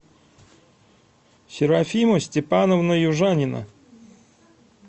серафима степановна южанина